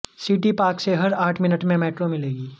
city park से हर आठ मिनट में मेट्रो मिलेगी